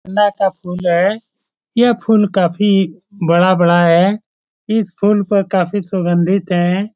गेंदा का फुल है यह फुल काफी बड़ा-बड़ा है इस फुल पर काफी सुंगधित है।